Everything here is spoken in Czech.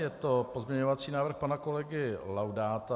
Je to pozměňovací návrh pana kolegy Laudáta.